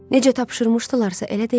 Necə tapşırmışdılarsa, elə də elədi.